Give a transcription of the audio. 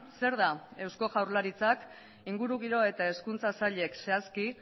zer da eusko jaurlaritzak ingurugiro eta hezkuntza sailek zehazki